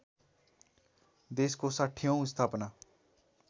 देशको ६०औँ स्थापना